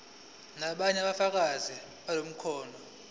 nobunye ubufakazi bamakhono